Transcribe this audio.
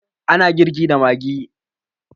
A na girki da maggi.